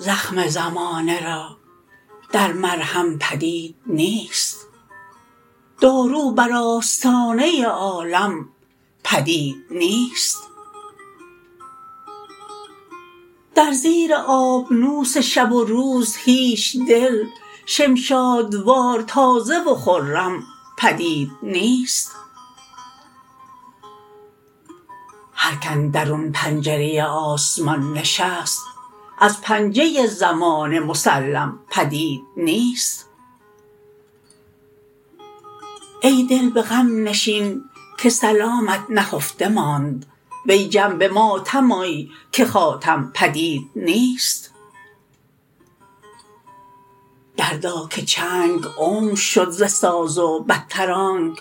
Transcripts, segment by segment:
زخم زمانه را در مرهم پدید نیست دارو بر آستانه عالم پدید نیست در زیر آبنوس شب و روز هیچ دل شمشادوار تازه و خرم پدید نیست هرک اندرون پنجره آسمان نشست از پنجه زمانه مسلم پدید نیست ای دل به غم نشین که سلامت نهفته ماند وی جم به ماتم آی که خاتم پدید نیست دردا که چنگ عمر شد ز ساز و بدتر آنک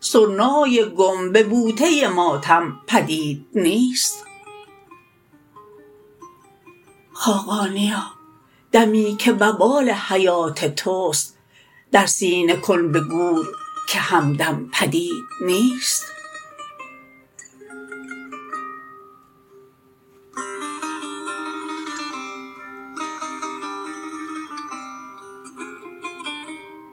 سرنای گم به بوده ماتم پدید نیست خاقانیا دمی که وبال حیات توست در سینه کن به گور که همدم پدید نیست